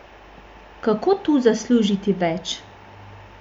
Kako tu zaslužiti več?